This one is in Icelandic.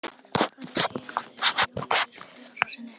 Hvað er tíðinda af Jóni biskupi Arasyni?